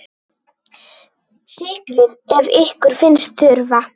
Sykrið ef ykkur finnst þurfa.